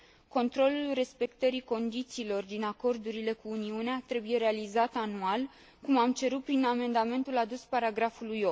Controlul respectării condițiilor din acordurile cu Uniunea trebuie realizat anual, cum am cerut prin amendamentul adus punctului